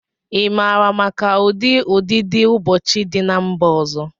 Ị maara maka ụdị ụdidiụbọọchi dị na mba ọzọ?